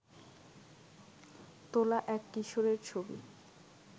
তোলা এক কিশোরের ছবি